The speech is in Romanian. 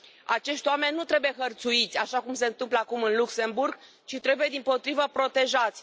Acești oameni nu trebuie hărțuiți, așa cum se întâmplă acum în Luxemburg, ci trebuie, dimpotrivă, protejați.